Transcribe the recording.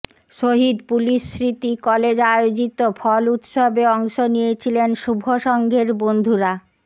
শহীদ police স্মৃতি college আয়োজিত ফল উৎসবে অংশ নিয়েছিলেন শুভসংঘের বন্ধুরা